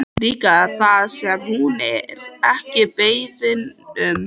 Líka það sem hún er ekki beðin um.